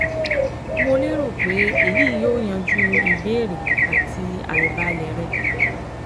Mo lérò pé èyí yóò yanjú ìbéèrè àti àìbalẹ̀ rẹ